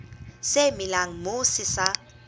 se melang moo se sa